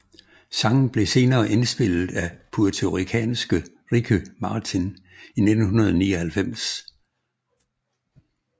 Sangen blev senere indspillet af puertoricanske Ricky Martin i 1999